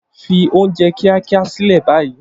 Fi oúnjẹ kíákíá sílẹ̀ báyìí